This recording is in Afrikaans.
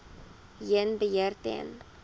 heen beheer ten